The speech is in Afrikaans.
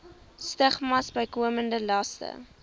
stigmas bykomende laste